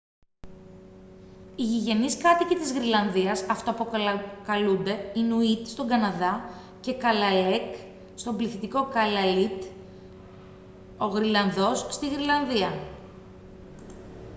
οι γηγενείς κάτοικοι της γροιλανδίας αυτοαποκαλούνται ινουίτ στον καναδά και kalaalleq στον πληθυντικό καλααλίτ ο γροιλανδός στη γροιλανδία